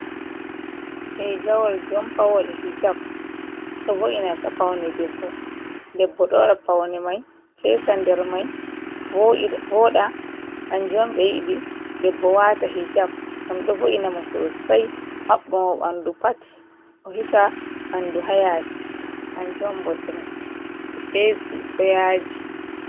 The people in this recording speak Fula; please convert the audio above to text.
Rigawal jonpawal hijap ɗo vo’ina paune debbo, debbo ɗo waɗa paune mai fesa nder mai voɗa, kanjom ɓe yidi debbo wata hijab ngam ɗo vo’ina mo sosai mabbo mo bandu pat o hisa bandu hayasi kanjom bo fesi doyaji.